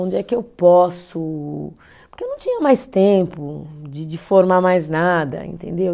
Onde é que eu posso, porque eu não tinha mais tempo de de formar mais nada, entendeu?